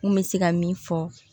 N kun bɛ se ka min fɔ